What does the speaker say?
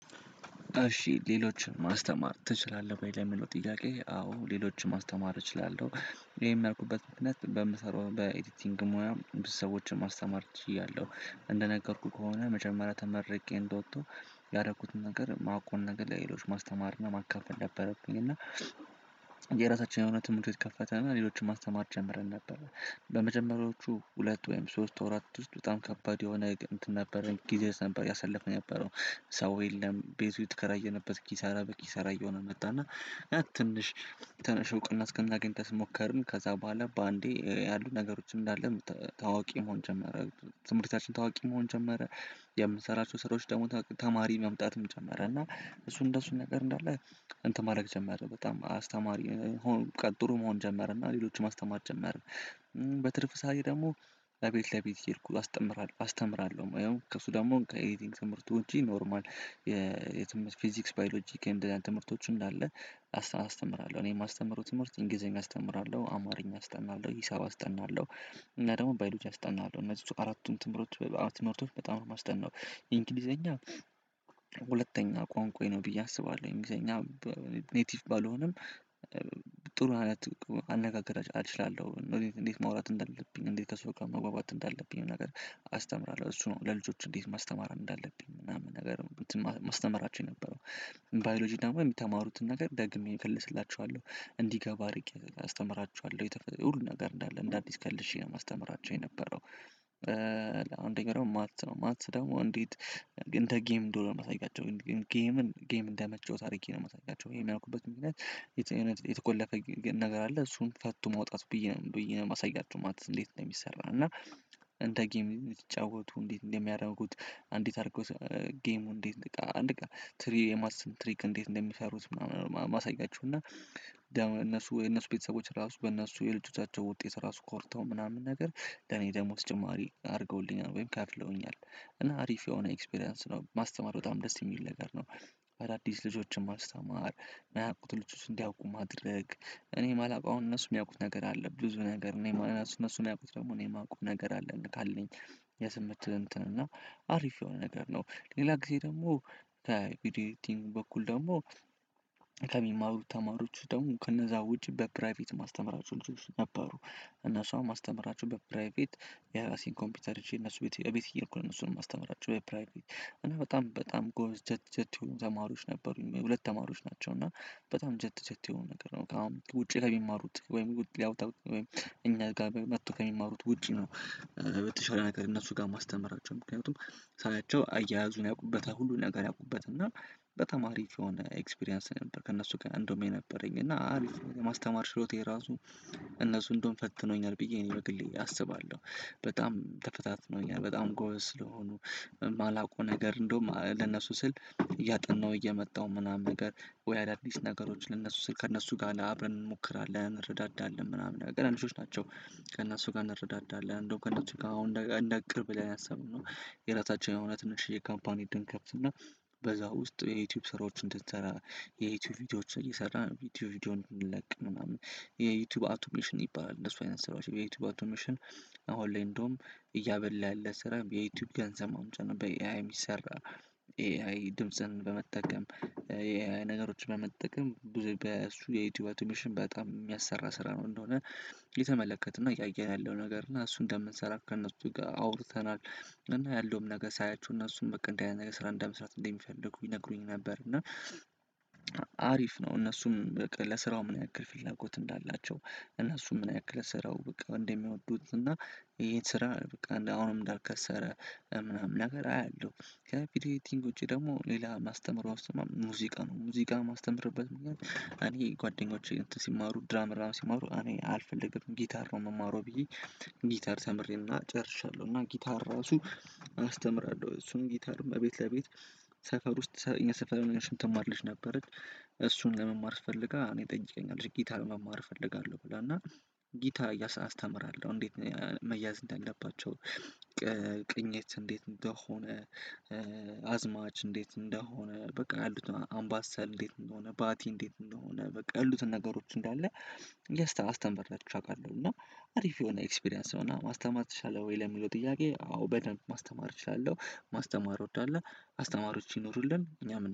እሺ ሌሎችን ማስተማር ትችላለህ ወይ? ለሚለው ጥያቄ አዎ ሌሎችን ማስተማር እችላለሁ ይሄን የያልኩበት ምክንያት በምሰራው በኤዲቲንግ ሙያ ብዙ ሰዎችን ማስተማር እችላለሁ እንደነገርኩህ ከሆነ መጀመሪያ ተመርቄ እንደወጣው ያደረኩትን ነገር ማቀውን ነገር ለሌሎች ማስተማር ማካፈል ነበረብኝ እና የራሳችንን የሆነ ትምህርት ቤት ከፈትንና ሌሎችን ማስተማር ጀምረን ነበር በመጀመሪያዎቹ ሁለት ወይም ሶስት ወራት ውስጥ በጣም ከባድ የሆነ እንትን ነበረኝ ጊዜያት ነበር ያሳለፍነው የነበረው ሰው የለም ቤቱ የተከራየንበት ኪሳራ በቂ ሰራይ ሆኖ መጣና ትንሽ ትንሽ እውቅና እስከናገኝ ድረስ ሞከርን ከዛ በኋላ በአንዴ ያሉ ነገሮችን እንዳለ ታዋቂ መሆን ጀመረ ትምህርታችን ታዋቂ መሆን ጀመረ የምንሰራቸው ስራዎች ደግሞ ተማሪ መምጣትም ጀመረ እና እሱ እንደሱ ነገር እንዳለ እንትን ማድረግ ጀመረ በጣም አስተማሪ በቃ ጥሩ መሆን ጀመረና ሌሎችም አስተማሪ ጀመረ በትርፍ ሰዓት ደግሞ ለቤት ለቤት ሄድኩ አስተምራለሁ አስተምራለሁ ወይ ከሱ ደግሞ ከኤዲቲንግ ትምህርቱ እንጂ ኖርማል የትምህርት ፊዚክስ ባዮሎጂካዊ የምንለው ትምህርቶችም እንዳለ አስተምራለሁ እኔ የማስተምረው ትምህርት እንግሊዝኛ አስተምራለሁ አማርኛ አስተምራለሁ ሂሳብ አስጠናለሁ እና ደግሞ ባይሎጅ አስጠናለሁ እነዚህ እሱ አራቱን ትምህርቶች በጣም ነው የማስጠናው እንግሊዝኛ ሁለተኛ ቋንቋ ነው ብዬ አስባለሁ እንግሊዝኛ ኔቲቭ ባልሆንም ጥሩ አይነት አልችልም እንዴት ማውራት እንዳለብኝ እንዴት ከሰው ጋር መዋባት እንዳለብኝ ነገር አስተምራለሁ እሱ ነው ለልጆቹ እንዴት ማስተማር እንዳለብኝ ምናምን ነገር እንትን ማስተምራቸው የነበረው ባዮሎጂ ደግሞ የሚተማሩትን ነገር ደግሜ እከልስላቸዋለሁ እንዲገባ አድርጌ አስተምራችኋለሁ የተፈጠረ ሁሉ ነገር እንዳለ እንደ አዲስ ከልሼ ነው ማስተምራቸው የነበረው አሁን ደግሞ ማትስ ነው ማትስ ደግሞ እንዴት ግን እንደጌም እንደሆነ ላሳያቸው ጌምን ጌም እንደመቸው አርጌ ነው እማሳያቸው የሚያልኩበት ምክንያት የተቆለፈ ነገር አለ እሱን ፈቶ ማውጣት ብዬ ነው ብዬ ነው የማሳያችሁ ማለት እንዴት እንደሚሰራ እና እንደጌም የምትጫወቱ እንዴት እንደሚያደርጉት አንዲት አድርጎት ጌሙ እንዴት አንድ ትሪ የማስበው እንዴት እንደሚፈሩት ምናምን ማሳያችሁ እና ደግሞ እነሱ የነሱ ቤተሰቦች ራሱ በነሱ የልጆታቸው ውጤት ራሱ ኮርተው ምናምን ነገር ለኔ ደሞዝ ጭማሪ አድርገውልኛል ወይም ከፍለውኛል እና አሪፍ የሆነ ኤክስፒሪያንስ ነው ማስተማር በጣም ደስ የሚል ነገር ነው አዳዲስ ልጆችን ማስተማር የሚያውቁትን ልጆች እንዲያውቁ ማድረግ እኔ የማላውቀውን እነሱ የሚያውቁት ነገር አለ ብዙ ነገር እኔ ማለት ነው እነሱን ያውቁት ደግሞ እኔ የማውቀው ነገር አለ እንዴ ካለኝ የስምንት እንትን እና አሪፍ የሆነ ነገር ነው ሌላ ጊዜ ደግሞ በኢዲቲንግ በኩል ደግሞ ከሚማሩ ተማሪዎች ደግሞ ከነዛ ውጪ በፕራይቬት እማስተምራቸው ልጆች ነበሩ እነሱም አስተምራቸው በፕራይቬት የራሴን ኮምፒውተር ይዤ እነሱ ቤት እቤት እየሄድኩ እነሱንም እማስተምራቸው በፕራይቬት እና በጣም በጣም ጎምዝ ጀት ጀት የሆኑ ተማሪዎች ነበሩኝ ሁለት ተማሪዎች ናቸው እና በጣም ጀት ጀት ይሁን ነገር ነው ውጪ ከሚማሩት ወይም ያው ወይም እኛ ጋር መጥቶ ከሚማሩት ውጪ ነው በተሻለ ነገር እነሱ ጋር ማስተምራቸው ምክንያቱም ሳያቸው አያያዙን ያውቁበት ሁሉ ነገር ያውቁበት እና በተማሪ ከሆነ ኤክስፒሪያንስ ነበር ከእነሱ ጋር እንደውም የነበረኝ እና አሪፍ ማስተማር ችሎታ የራሱ እነሱ እንደሆን ፈትነውኛል ብዬ እኔ በግልዬ አስባለሁ በጣም ተፈታትነውኛል በጣም ጎበዝ ስለሆኑ የማላውቀው ነገር እንደውም ለነሱ ስል እያጠናው እየመጣው ምናምን ነገር ወይ አዳዲስ ነገሮች ለእነሱ ስር ከእነሱ ጋር ለአብረን እንሞክራለን እንረዳዳለን ምናምን ቀናንሾች ናቸው ከእነሱ ጋር እንረዳዳለን እንደው ከእነሱ ጋር አሁን እንደ እንደ ቅርብ ብለን ያሰብነው የራሳቸውን እውነት ነሽ የካምፓኒድን ከፍተን በዛ ውስጥ የዩቲዩብ ስራዎችን እንድንሰራ የዩቲዩብ ቪዲዮዎችን እየሰራን ቪዲዮ ቪዲዮውን እንለቅ ምናምን የዩቲዩብ አውቶሜሽን ይባላል እነሱ አይነት ስራዎች የዩቲዩብ አቶሜሽን አሁን ላይ እንደውም እያበላ ያለ ስራ የዩቲዩብ ገንዘብ ማምጣት ነው በኤአይ የሚሰራ ኤአይ ድምጽን በመጠቀም ነገሮችን በመጠቀም ብዙ የዩቲዩብ አቶሚሽን በጣም የሚያሰራ ስራ ነው እንደሆነ የተመለከትነው እያየን ያለው ነገር እና እሱን እንደምንሰራ ከእነሱ ጋር አውርተናል እና ያለውም ነገር ሳያችሁ እነሱም በቃ እንደዚህ አይነት ነገር ስራ እንደ መስራት እንደሚፈልጉ ይነግሩኝ ነበር እና አሪፍ ነው እነሱም ለስራው ምን ያክል ፍላጎት እንዳላቸው እነሱ ምን ያክል ስራው በቃ እንደሚወዱት እና የት ስራ በቃ እንደ አሁንም እንዳልከሰረ ምናምን ነገር አያለሁ ከዚህ ቪዲዮ ኤዲቲንግ ውጪ ደግሞ ሌላ ማስተምህር ውስጥ ሙዚቃ ነው ሙዚቃ የማስተምርበት ምክንያት እኔ ጓደኞቼ ሲማሩ ድራም ሲማሩ እኔ አልፈልግም ጊታር ነው የምማረው ብዬ ጊታር ተምሬና ጨርሻለሁ እና ጊታር ራሱ አስተምራለሁ እሱን ጊታርም ቤት ለቤት ሰፈር ውስጥ እኛ ሰፈር እምትማር ልጅ ነበረች እሱን ለመማር ፈልጋ እኔ ጠንቄኛለሁ ጊታ ለመማር እፈልጋለሁ ብላ እና ጊታ አስተምራለሁ እንዴት መያዝ እንዳለባቸው ቅኝት እንዴት እንደሆነ አዝማች እንዴት እንደሆነ በቃ ያሉት አምባሳል እንዴት እንደሆነ ባቲ እንዴት እንደሆነ በቃ ያሉት ነገሮች እንዳለ ያስተ አስተምሬያቸው አውቃለሁ እና አሪፍ የሆነ ኤክስፒሪያንስ ሆና ማስተማር ትችላለህ ወይ ለሚለው ጥያቄ አዎ በደንብ ማስተማር እችላለሁ ማስተማር ወዳለ አስተማሪዎች ይኖሩልን እኛም